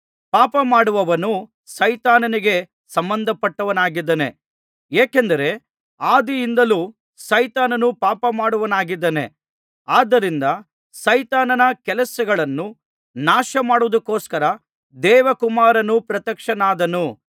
ಪಾಪಮಾಡುವವನು ಸೈತಾನನಿಗೆ ಸಂಬಂಧಪಟ್ಟವನಾಗಿದ್ದಾನೆ ಏಕೆಂದರೆ ಆದಿಯಿಂದಲೂ ಸೈತಾನನು ಪಾಪಮಾಡುವವನಾಗಿದ್ದಾನೆ ಆದ್ದರಿಂದ ಸೈತಾನನ ಕೆಲಸಗಳನ್ನು ನಾಶಮಾಡುವುದಕ್ಕೋಸ್ಕರ ದೇವಕುಮಾರನು ಪ್ರತ್ಯಕ್ಷನಾದನು